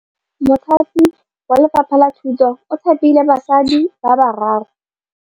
Mothapi wa Lefapha la Thutô o thapile basadi ba ba raro.